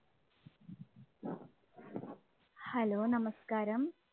hello, നമസ്കാരം.